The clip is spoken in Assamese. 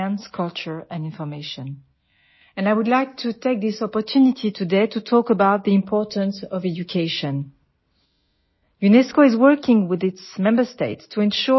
আমাৰ নিৰ্দেশনাৰ সকলো ক্ষেত্ৰতে আমাৰ একত্ৰিতভাৱে যথেষ্ট শক্তিশালী অংশীদাৰীত্ব আছে শিক্ষা বিজ্ঞান সংস্কৃতি আৰু তথ্য এই বিষয়সমূহত আৰু মই আজি এই সুযোগতে শিক্ষাৰ গুৰুত্বৰ বিষয়ে কথা পাতিব বিচাৰো